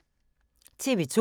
TV 2